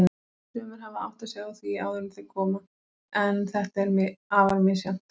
Sumir hafa áttað sig á því áður en þeir koma, en þetta er afar misjafnt.